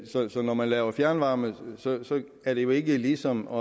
så så når man laver fjernvarme er det jo ikke ligesom